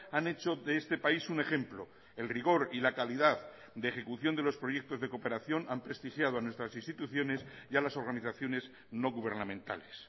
han hecho de este país un ejemplo el rigor y la calidad de ejecución de los proyectos de cooperación han prestigiado a nuestras instituciones y a las organizaciones no gubernamentales